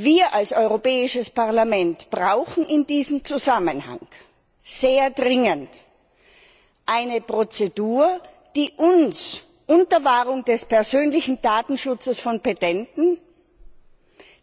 Wir als Europäisches Parlament brauchen in diesem Zusammenhang sehr dringend eine Prozedur, die uns unter Wahrung des persönlichen Datenschutzes von Petenten,